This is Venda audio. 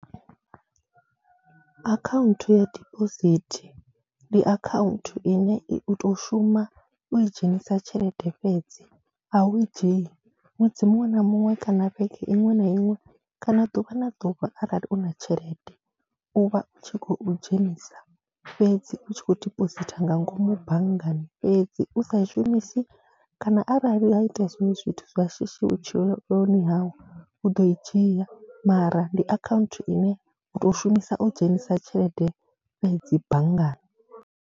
Akhaunthu ya diphosithi ndi akhaunthu ine i u tou shuma u i dzhenisa tshelede fhedzi, a u i dzhii, ṅwedzi muṅwe na muṅwe kana vhege iṅwe na iṅwe kana ḓuvha na ḓuvha arali u na tshelede, u vha u tshi khou dzhenisa fhedzi, u tshi khou dipositha nga ngomu banngani fhedzi. U sa i shumisi kana arali ha itea zwiṅwe zwithu zwa shishi vhutshiloni hau u ḓo i dzhia mara ndi akhaunthu ine u tou shumisa u dzhenisa tshelede fhedzi banngani.